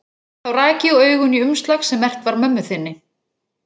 Þá rak ég augun í umslag sem merkt var mömmu þinni.